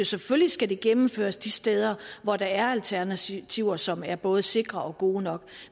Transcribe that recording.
selvfølgelig skal det gennemføres de steder hvor der er alternativer som er både sikre og gode nok